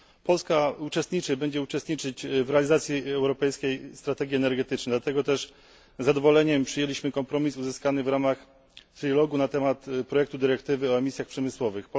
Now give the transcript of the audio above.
Polska uczestniczy, będzie uczestniczyć w realizacji europejskiej strategii energetycznej, dlatego też z zadowoleniem przyjęliśmy kompromis uzyskany w ramach trilogue'u na temat projektu dyrektywy o emisjach przemysłowych.